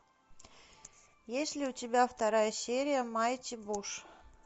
есть ли у тебя вторая серия майти буш